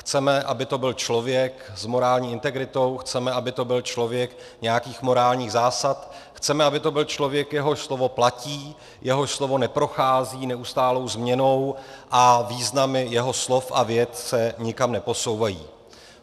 Chceme, aby to byl člověk s morální integritou, chceme, aby to byl člověk nějakých morálních zásad, chceme, aby to byl člověk, jehož slovo platí, jehož slovo neprochází neustálou změnou a významy jeho slov a vět se nikam neposouvají.